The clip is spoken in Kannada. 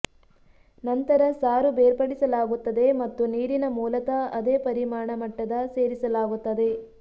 ನಂತರ ಸಾರು ಬೇರ್ಪಡಿಸಲಾಗುತ್ತದೆ ಮತ್ತು ನೀರಿನ ಮೂಲತಃ ಅದೇ ಪರಿಮಾಣ ಮಟ್ಟದ ಸೇರಿಸಲಾಗುತ್ತದೆ